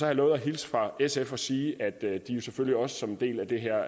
jeg lovet at hilse fra sf og sige at de selvfølgelig også som en del af det her